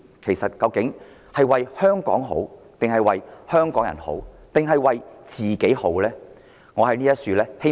其實他們是為香港好，為香港人好，抑或是為自己好？